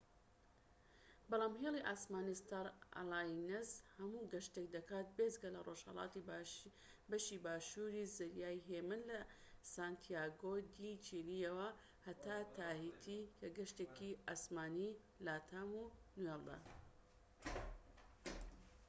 بەڵام هێلی ئاسمانی ستار ئەلایەنس هەموو گەشتێك دەکات بێجگە لە ڕۆژهەڵاتی بەشی باشوور ی زەریای هێمن لە سانتیاگۆ دی چیلی یەوە تا تاهیتی کە گەشتێکی ئاسمانی لاتام وەنوێڵدە